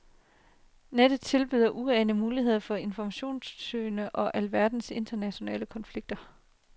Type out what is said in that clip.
Nettet tilbyder uanede muligheder for informationssøgning om alverdens internationale konflikter.